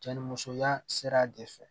Cɛ ni musoya sera a de fɛ